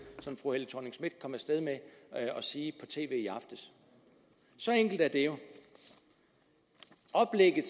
som fru helle thorning schmidt kom af sted med at sige i tv i aftes så enkelt er det jo i oplægget